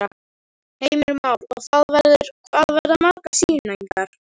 Heimir Már: Og það verður, hvað verða margar sýningar?